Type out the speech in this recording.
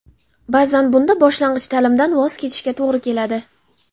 Ba’zan bunda boshlang‘ich ta’limdan voz kechishga to‘g‘ri keladi.